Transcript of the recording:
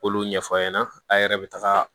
K'olu ɲɛfɔ a ɲɛna a' yɛrɛ bɛ taga